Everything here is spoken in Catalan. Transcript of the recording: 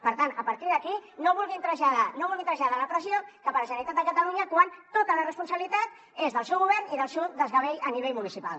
per tant a partir d’aquí no vulguin traslladar la pressió cap a la generalitat de catalunya quan tota la responsabilitat és del seu govern i del seu desgavell a nivell municipal